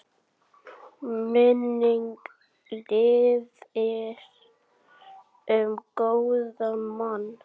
Minning lifir um góðan mann.